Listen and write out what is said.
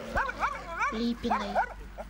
липиной